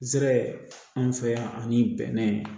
Zɛrɛ an fɛ yan ani bɛnɛ